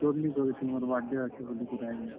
ସୋର୍ ନିଁ କରିଥାଇ ମୋର୍ birthday ଅଛେ ବୋଲିକିରି ଆଜି।